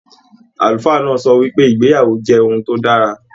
Àlùfáà náà sọ wípé, ìgbéyàwó jẹ ohùn to dára.